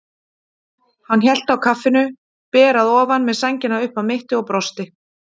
Hann hélt á kaffinu, ber að ofan með sængina upp að mitti, og brosti.